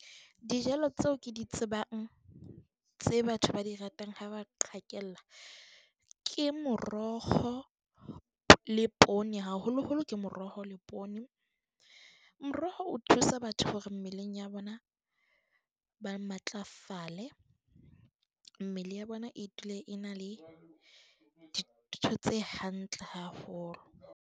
Dijalo tseo ke di tsebang, tse batho ba di ratang ha ba qhekella. Ke moroho le poone, haholo-holo ke moroho le poone. Moroho o thusa batho hore mmeleng ya bona ba matlafale, mmele ya bona e dule e na le dintho tse hantle haholo.